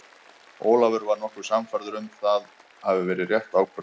Ólafur var nokkuð sannfærður að það hafi verið rétt ákvörðun.